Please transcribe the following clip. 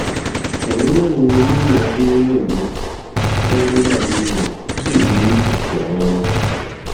ìyàwó mẹrin ni olóye adẹrẹmí fẹ nígbà ayé rẹ ó sì bí ọpọ ọmọ